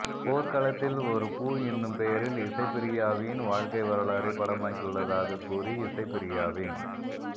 போர்க்களத்தில் ஒரு பூ என்னும் பெயரில் இசைப்பிரியாவின் வாழ்க்கை வரலாறைப் படமாக்கியுள்ளதாக்க் கூறி இசைப்பிரியாவின்